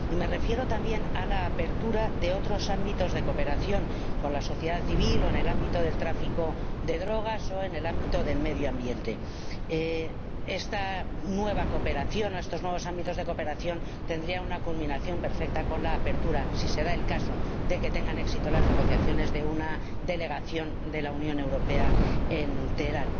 Y me refiero también a la apertura de otros ámbitos de cooperación con la sociedad civil o en el ámbito del tráfico de drogas o en el ámbito del medio ambiente. Estos nuevos ámbitos de cooperación tendrían una culminación perfecta con la apertura, si se da el caso de que tengan éxito las negociaciones, de una delegación de la Unión Europea en Teherán.